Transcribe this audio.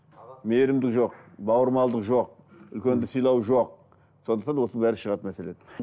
мейірімділік жоқ бауырмалдық жоқ үлкенді сыйлау жоқ сондықтан осының бәрі шығатын мәселе